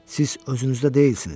Siz özünüzdə deyilsiniz.